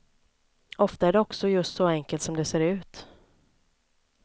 Ofta är det också just så enkelt som det ser ut.